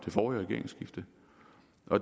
på